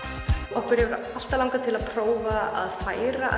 okkur hefur alltaf langað til að prófa að færa